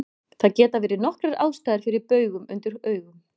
Það geta verið nokkrar ástæður fyrir baugum undir augum.